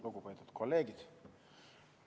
Lugupeetud kolleegid!